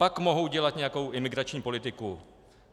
Pak mohou dělat nějakou imigrační politiku.